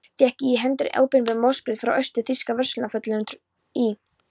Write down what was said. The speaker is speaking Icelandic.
Fékk ég í hendur opinbert boðsbréf frá austur-þýska verslunarfulltrúanum í